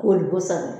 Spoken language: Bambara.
Wolo kosɛbɛ